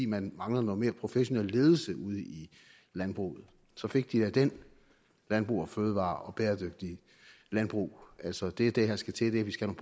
man mangler noget mere professionel ledelse ude i landbruget så fik de da den landbrug fødevarer og bæredygtigt landbrug altså det er det der skal til vi skal